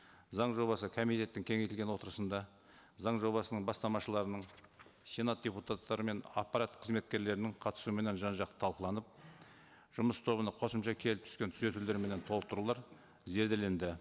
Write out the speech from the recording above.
заң жобасы комитеттің кеңейтілген отырысында заң жобасының бастамашыларының сенат депутаттары мен аппарат қызметкерлерінің қатысуыменен жан жақты тылқыланып жұмыс тобына қосымша келіп түскен түзетулер менен толықтырулар зерделенді